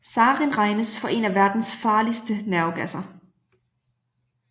Sarin regnes for en af verdens farligste nervegasser